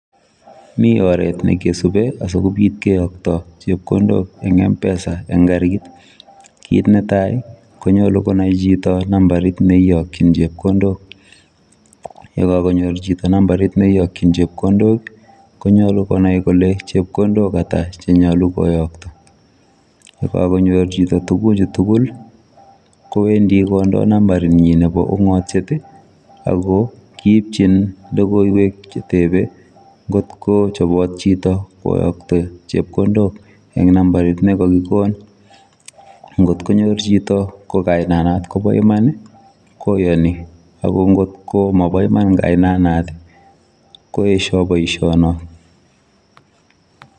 Mii oret nekisupei asikobiit keyaktoi chepkondook en [mpesa] eng kariit kit netai konyaluu konai chitoo nambariit ne iyakyiin chepkondook, ye kakanyoor chitoo nambariit ne iyakyiin chepkondook ii konyaluu konai kole chepkondook ata ata che nyaluu koyaktoi ye kakonyoor chitoo tuguuk chuu tugul ko kowendii kondaa nambait nyiin nebo ungatiet ii ago kiipchiin ii logoiywek che tebeen ngoot ko chapaat chitoo koyaktoi chepkondook en numbariit nekakikonin ngoot konyoor chitoo ko kainaan notoon kobaa imaan koyani ako ngoot ko mabaa imaan kaibet nataan koesha boisionon not.